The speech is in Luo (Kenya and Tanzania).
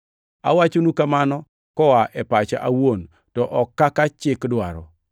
Awachonu kamano koa e pacha awuon, to ok kaka chik dwaro.